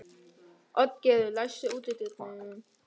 Oddgerður, læstu útidyrunum.